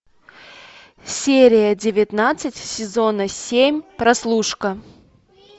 серия девятнадцать сезона семь прослушка